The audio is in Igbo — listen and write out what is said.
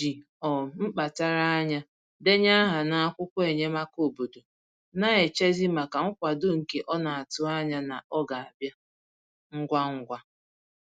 O ji um mkpachara anya denye aha n'akwụkwọ enyemaka obodo, na-echezi maka nkwado nke ọ na-atụ anya na ọ ga-abịa ngwa ngwa